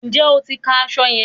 Ǹjẹ́ o ti ka aṣọ yẹn?